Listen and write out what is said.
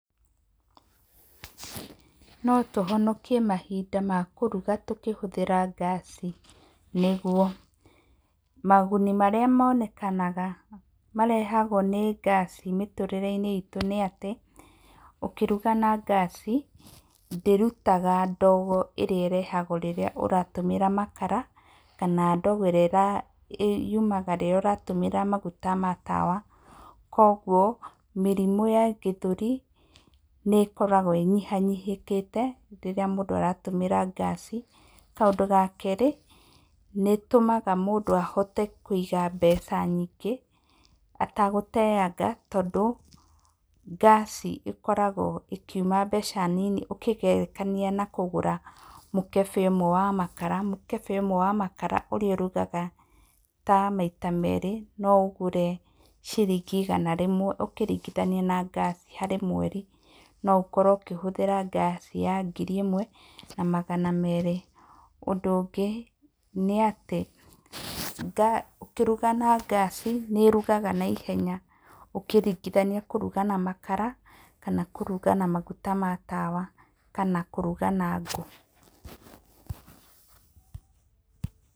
Notũhonokie mahinda ma kũruga tũkĩhũthĩra ngaci, nĩguo. Maguni marĩa monekanaga marehagwo nĩ ngaci mĩtũrĩre-inĩ itũ nĩ atĩ, ũkĩruga na ngaci, ndĩrutaga ndogo ĩrĩa ĩrehagwo rĩrĩa ũratũmĩra makara, kana ndogo ĩrĩa yumanaga rĩrĩa ũratũmĩra maguta ma tawa. Koguo mĩrimũ ya gĩthũri, nĩ ĩkoragwo ĩnyiha nyihĩkĩte rĩrĩa mũndũ aratũmĩra ngaci. Kaũndũ ga kerĩ, nĩtũmaga mũndũ ahote kũiga mbeca nyingĩ etagũteyaga. Tondũ ngaci ĩkoragwo ĩkiuma mbeca nini ũkĩgerekania na kũgũra mũkebe ũmwe wa makara. Mũkebe ũmwe wa makara ũrĩa ũrugaga ta maita merĩ noũũgũre ciringi igana rĩmwe ũkĩringithania na ngaci harĩ mweri. No ũkorwo ũkĩhũthĩra ngaci ya ngiri ĩmwe, na magana merĩ. Ũndũ ũngĩ nĩatĩ, ngĩruga na ngaci nĩĩrugaga naihenya ũkĩringithania kũruga na makara, kana kũruga na maguta ma tawa, kana kũruga na ngũũ.